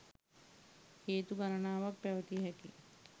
හේතු ගණනාවක් පැවතිය හැකිය.